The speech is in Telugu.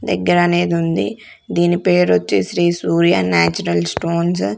దగ్గర అనేది ఉంది దీని పేరు వచ్చేసి శ్రీ సూర్య నాచురల్ స్టోన్స్ .